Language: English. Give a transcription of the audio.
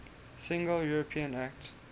single european act